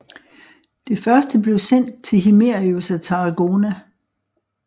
Det første blev sendt til Himerius af Tarragona